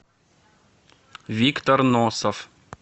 виктор носов